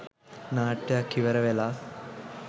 නාට්‍යයක් ඉවර වෙලා.